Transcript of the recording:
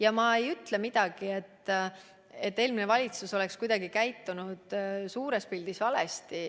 Ja ma ei ütle, et eelmine valitsus käitus suures pildis valesti.